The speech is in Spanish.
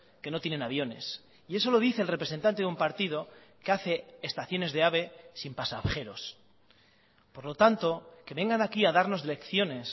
que no tienen aviones y eso lo dice el representante de un partido que hace estaciones de ave sin pasajeros por lo tanto que vengan aquí a darnos lecciones